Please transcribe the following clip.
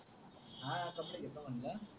हां हां कपडे घेतो म्हंटल